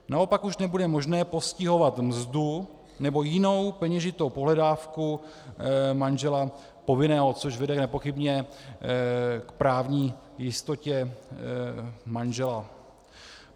Naopak už nebude možné postihovat mzdu nebo jinou peněžitou pohledávku manžela povinného, což vede nepochybně k právní jistotě manžela.